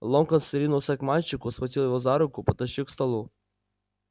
локонс ринулся к мальчику схватил его за руку потащил к столу